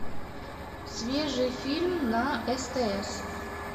свежий фильм на стс